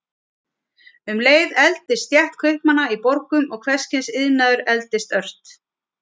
Um leið efldist stétt kaupmanna í borgum og hvers kyns iðnaður efldist ört.